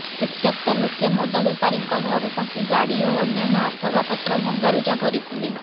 ଉତ୍ତ୍ୟକ୍ତ ଲୋକେ ମଦ ବେପାରୀଙ୍କ ଘରେ ପଶି ଗାଡ଼ି ଓ ଅନ୍ୟାନ୍ୟ ଆସବାପତ୍ର ଭଙ୍ଗାରୁଜା କରିଥିଲେ